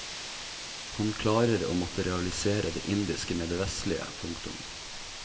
Han klarer å materialisere det indiske med det vestlige. punktum